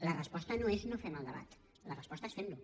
la resposta no és no fem el debat la resposta és fem lo